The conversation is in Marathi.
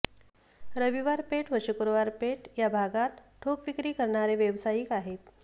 रविवार पेठ व शुक्रवार पेठ या भागात ठोक विक्री करणारे व्यावसायिक आहेत